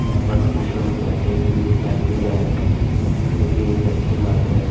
यहां पास कुछ लोग बैठे हुए भी दिखाई दे रहे हैं जो की एक अच्छी बात है।